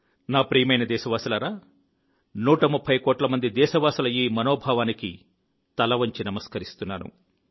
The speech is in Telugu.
నా ప్రియమైన దేశవాసులారా 130 కోట్ల మంది దేశవాసుల ఈ మనోభావానికి తల వంచి నమస్కరిస్తున్నాను